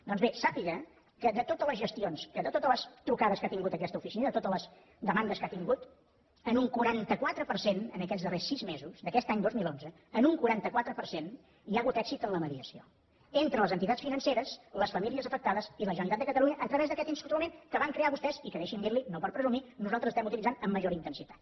doncs bé sàpiga que de totes les gestions de totes les trucades que ha tingut aquesta oficina de totes les demandes que ha tingut en un quaranta quatre per cent aquests darrers sis mesos d’aquest any dos mil onze en un quaranta quatre per cent hi ha hagut èxit en la mediació entre les entitats financeres les famílies afectades i la generalitat de catalunya a través d’aquest instrument que van crear vostès i que deixi’m dir li ho no per presumir nosaltres estem utilitzant amb major intensitat